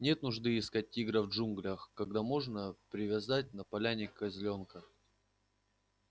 нет нужды искать тигра в джунглях когда можно привязать на поляне козлёнка